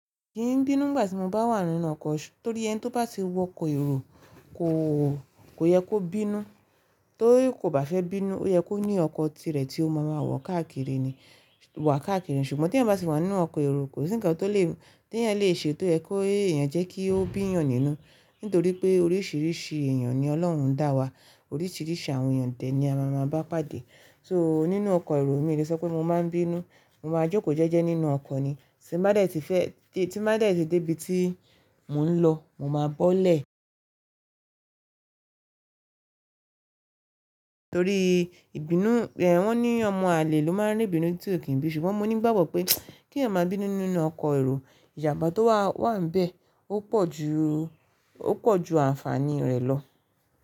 Yìí n bínú ìgbà tí mo bá wà nínú ọkọ̀, torí ẹni tí ó bá ti wọ ọkọ̀ èrò kò, kò yẹ kó bínú. Torí kò bá fẹ́ bínú, ó yẹ kó ní ọkọ̀ tirẹ̀ tí ó máa ma wọ̀ káàkiri ni, wọ̀ káàkiri. Ṣùgbọ́n tí ẹ bá sì wà nínú ọkọ̀ èrò, kò sí ǹkan tó lè, tí ẹ̀yin lè ṣe tó yẹ kó ìyẹn jẹ́ kí ó bíyàn nínú. Nítorí pé oríṣiríṣi èèyàn ni Ọlọ́run ń dá wa, oríṣiríṣi àwọn èèyàn dẹ̀ ní a máa ma bá pàdé. So nínú ọkọ̀ èrò mi irẹsẹ́ pé mo máa n bínú, mo máa jókòó jẹ́jẹ́ nínú ọkọ̀ ni. Tí mo bá dẹ̀ tí fẹ́, tí mo bá dẹ̀ tí dé ibi tí mò ń lọ, mo máa bọ́lẹ̀. Torí ìbínú, ẹ́ wọ́n ní ọmọ àlè ló máa n rí bínú tí ó kì í bí i. Ṣùgbọ́n mo nígbàgbọ́ pé kí ẹ̀yin máa bínú nínú ọkọ̀ èrò, ìjàmbá tó wà, wà níbẹ̀, ó pọ̀ ju, ó pọ̀ ju àǹfàní rẹ̀ lọ.